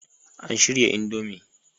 An shirya Indomie